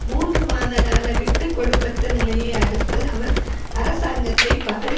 மூன்று மாதகால விட்டு கொடுப்பற்ற நிலையை அடுத்து அவர் அரசாங்கத்தை பதவி